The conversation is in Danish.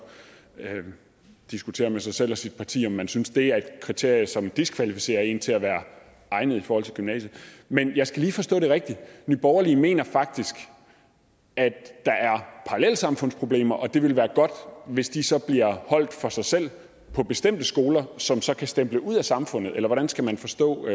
diskutere med sig selv og sit parti om man synes det er et kriterie som diskvalificerer en til at være egnet i forhold til gymnasiet men jeg skal lige forstå det rigtigt nye borgerlige mener faktisk at der er parallelsamfundsproblemer og at det ville være godt hvis de så bliver holdt for sig selv på bestemte skoler som så kan stemple ud af samfundet eller hvordan skal man forstå